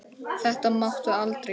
Þetta máttu aldrei gera.